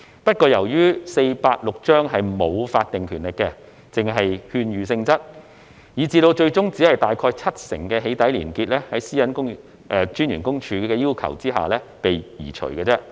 不過，由於《私隱條例》沒有法定權力，只屬勸諭性質，以致最終只有大概七成的"起底"連結在私隱公署的要求下被移除而已。